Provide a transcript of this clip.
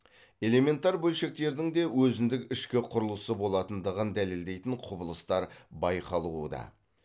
элементар бөлшектердің де өзіндік ішкі құрылысы болатындығын дәлелдейтін құбылыстар байқалуда